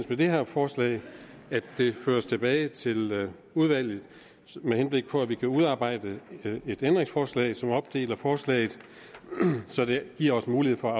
med det her forslag at det føres tilbage til udvalget med henblik på at vi kan udarbejde et ændringsforslag som opdeler forslaget så det giver os mulighed for at